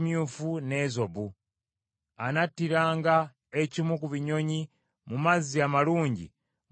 Anattiranga ekimu ku binyonyi mu mazzi amalungi mu kibya eky’ebbumba.